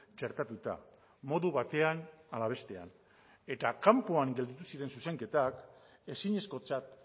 txertatuta modu batean ala bestean eta kanpoan gelditu ziren zuzenketak ezinezkotzat